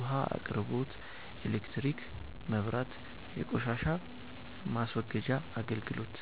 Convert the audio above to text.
ውሃ አቅርቦት ኤሌክትሪክ (መብራት) የቆሻሻ ማስወገጃ አገልግሎት